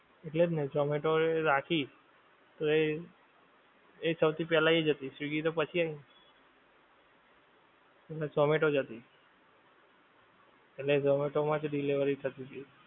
એટલે જ ને ઝોમેટો એ રાખી. તો એ, એ સૌથી પેલ્લા એજ હતી સ્વીગી તો પછી આયવી. પહેલા ઝોમેટો જ હતી. એટલે ઝોમેટો માંજ delivery થતીતી.